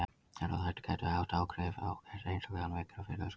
Erfðaþættir gætu haft einhver áhrif og gert einstaklinga veikari fyrir röskuninni.